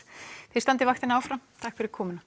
þið standið vaktina áfram takk fyrir komuna